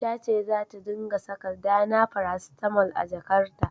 Ta ce zata ringa saka Dana paracetamol a jakarta.